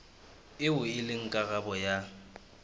eo e leng karolo ya